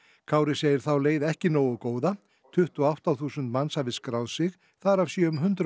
Kári segir þá leið ekki nógu góða tuttugu og átta þúsund manns hafi skráð sig þar af séu um hundrað